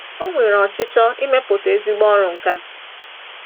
O nwere ọchịchọ imepụta ezigbo ọrụ nkà.